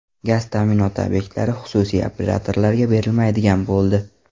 Gaz ta’minoti obyektlari xususiy operatorlarga berilmaydigan bo‘ldi.